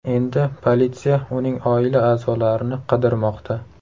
Endi politsiya uning oila a’zolarini qidirmoqda.